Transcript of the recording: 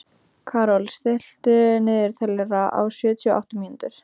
Karol, stilltu niðurteljara á sjötíu og átta mínútur.